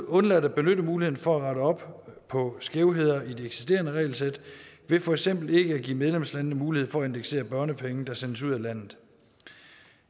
undladt at benytte muligheden for at rette op på skævheder i det eksisterende regelsæt ved for eksempel ikke at give medlemslandene mulighed for at indeksere børnepenge der sendes ud af landet